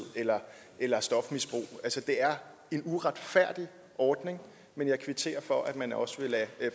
eller eller stofmisbrug det er en uretfærdig ordning men jeg kvitterer for at man også vil lade